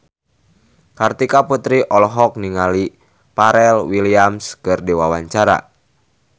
Kartika Putri olohok ningali Pharrell Williams keur diwawancara